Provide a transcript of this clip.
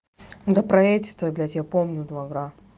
да проедь это для тебя помню